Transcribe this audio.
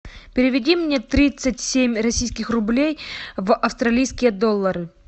переведи мне тридцать семь российских рублей в австралийские доллары